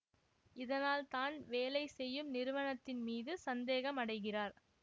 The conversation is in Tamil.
இதனால் தான் வேலை செய்யும் நிறுவனத்தின் மீது சந்தேகம் அடைகிறார்